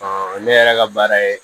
ne yɛrɛ ka baara ye